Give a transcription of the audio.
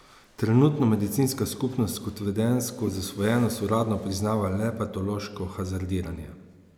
Trenutno medicinska skupnost kot vedenjsko zasvojenost uradno priznava le patološko hazardiranje.